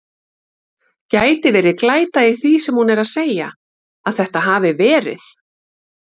Gæti verið glæta í því sem hún er að segja. að þetta hafi verið.